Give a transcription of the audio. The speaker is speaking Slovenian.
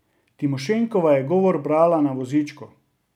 Timošenkova je govor brala na vozičku.